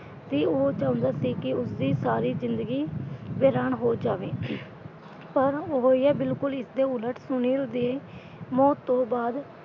ਤੇ ਉਹ ਚਾਹੁੰਦਾ ਸੀ ਕਿ ਉਸਦੀ ਸਾਰੀ ਜਿੰਦਗੀ ਵੀਰਾਨ ਹੋ ਜਾਵੇ ਪਰ ਹੋਇਆ ਬਿੱਲਕੁਲ ਇਸਦੇ ਉਲਟ ਸੁਨੀਲ ਦੀ ਮੌਤ ਤੋਂ ਬਾਅਦ।